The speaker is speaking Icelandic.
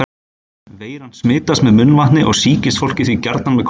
Veiran smitast með munnvatni og sýkist fólk því gjarnan með kossum.